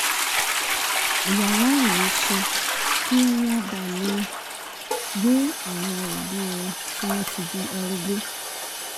yàrá ìwẹ̀ ṣe kí wọ́n bàa lè máa gbé àwọn òbí wọn tí wọ́n ti di arúgbó